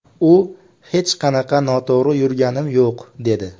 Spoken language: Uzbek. U hech qanaqa noto‘g‘ri yurganim yo‘q, dedi.